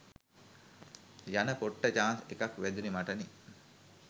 යන පොට්ට චාන්ස් එකක් වැදුනෙ මටනෙ.